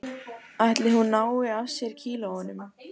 Ætli hún nái af sér kílóunum